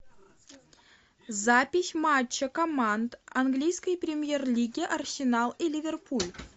запись матча команд английской премьер лиги арсенал и ливерпуль